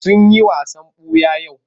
Sun yi wasan ɓuya yau?